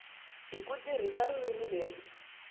hi ku tirhisa ririmi leri